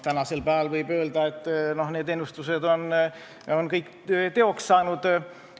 Tänasel päeval võib öelda, et need ennustused on kõik teoks saanud.